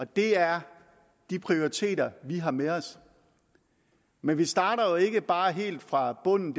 det er de prioriteter vi har med os men vi starter ikke bare helt fra bunden